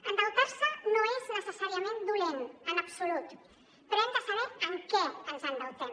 endeutar se no és necessàriament dolent en absolut però hem de saber en què ens endeutem